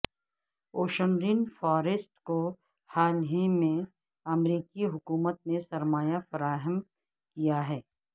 ocean rain forest کو حال ہیں میں امریکی حکومت نے سرمایہ فراہم کیا ہے